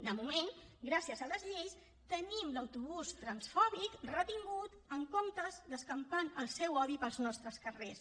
de moment gràcies a les lleis tenim l’autobús transfòbic retingut en comptes d’escampant el seu odi pels nostres carrers